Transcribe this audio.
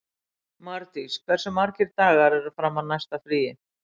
Mardís, hversu margir dagar fram að næsta fríi?